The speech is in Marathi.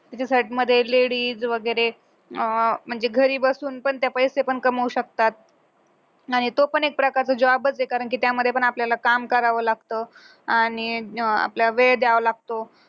ladies वगैरे म्हणजे घरी बसून पण त्या पैसे पण कमवू शकतात नाही तो पण एक प्रकारे job च आहे कारण की त्यामध्ये पण आपल्याला काम करावं लागतं आणि आपल्या वेळ द्यावा लागतो